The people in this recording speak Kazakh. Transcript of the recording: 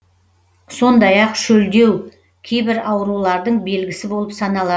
сондай ақ шөлдеу кейбір аурулардың белгісі болып саналады